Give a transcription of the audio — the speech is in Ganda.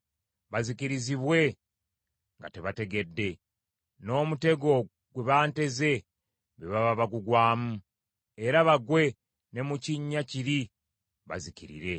bazikirizibwe nga tebategedde, n’omutego gwe banteze be baba bagugwamu, era bagwe ne mu kinnya kiri bazikirire.